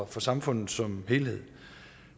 for samfundet som helhed